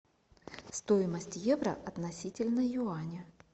стоимость евро относительно юаня